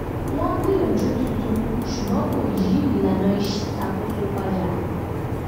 wọ́n gbìyànjú tuntun ṣùgbọ́n kò yí ìlànà iṣakoso padà